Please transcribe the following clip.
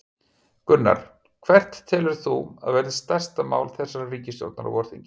Gunnar: Hvert telur þú að verði stærsta mál þessarar ríkisstjórnar á vorþingi?